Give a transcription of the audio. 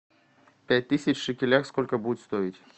пять тысяч в шекелях сколько будет стоить